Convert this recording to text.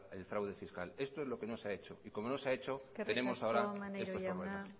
el fraude fiscal esto es lo que no se ha hecho y como no se ha hecho tenemos ahora estos problemas